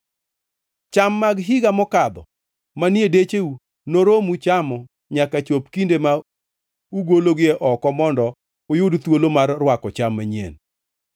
Cham mag higa makadho manie decheu noromu chamo nyaka chop kinde ma ugologie oko mondo uyud thuolo mar rwako cham manyien.